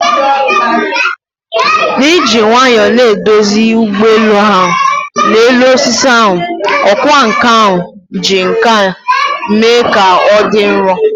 N'iji nwayọọ na-eduzi ụgbọ elu ahụ n'elu osisi ahụ, ọkwá nkà ahụ ji nkà mee ka ọ dị nro.